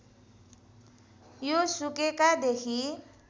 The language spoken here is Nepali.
यो सुकेका देखि